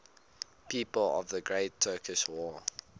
people of the great turkish war